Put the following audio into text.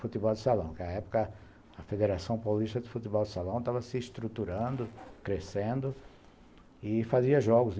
Futebol de salão, porque na época a Federação Paulista de Futebol de Salão estava se estruturando, crescendo e fazia jogos.